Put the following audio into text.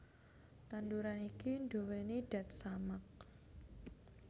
Tanduran iki nduwèni dat samak